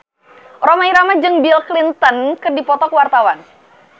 Rhoma Irama jeung Bill Clinton keur dipoto ku wartawan